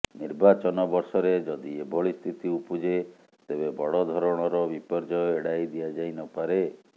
ନିର୍ବାଚନ ବର୍ଷରେ ଯଦି ଏଭଳିସ୍ଥିତି ଉପୁଜେ ତେବେ ବଡ଼ ଧରଣର ବିପର୍ଯ୍ୟୟ ଏଡ଼ାଇ ଦିଆଯାଇନପାରେ